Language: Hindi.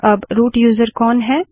अब रूट यूज़र कौन है